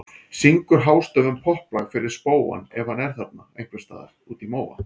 Syngur hástöfum popplag fyrir spóann ef hann er þarna ein- hvers staðar úti í móa.